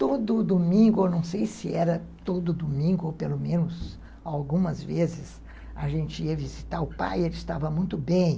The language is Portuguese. Todo domingo, eu não sei se era todo domingo, ou pelo menos algumas vezes, a gente ia visitar o pai e ele estava muito bem.